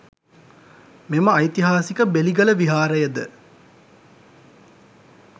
මෙම ඓතිහාසික බෙලිගල විහාරය ද